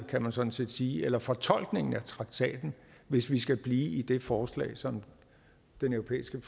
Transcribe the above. kan man sådan set sige eller fortolkningen af traktaten hvis vi skal blive i det forslag som den europæiske